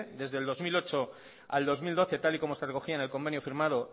desde el dos mil ocho al dos mil doce tal y como se recogía en el convenio firmado